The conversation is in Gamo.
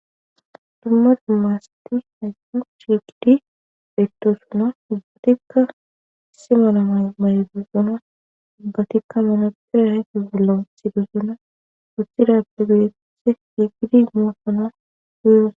Dumma dummaasati haysqo chigidi bettoosono dubgatikka si malamay maydosona dubgatikka menoopera aeti bollon sidoszona wothidappe gidetthe higidi nuasono huyo.